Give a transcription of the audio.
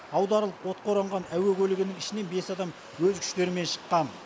аударылып отқа оранған әуе көлігінің ішінен бес адам өз күштерімен шыққан